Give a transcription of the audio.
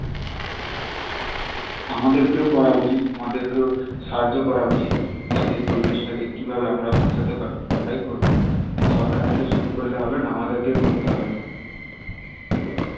আমাদের কেও করা উচিত আমাদেরকেও সাহায্য করা উচিত যাতে পরিবেশ টা কে কি ভাবে আমরা বাঁচাতে পারি আমরাই করবো সরকার তো শুধু করলে হবে না আমাদেরকেও করতে হবে